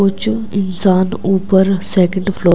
वो जो इंसान ऊपर सेकंड फ्लोर --